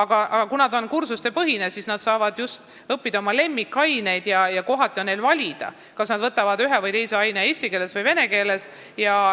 Kuna kool on kursustepõhine, siis nad saavad õppida oma lemmikaineid ja kohati ka valida, kas nad võtavad ühe või teise aine eesti või vene keeles.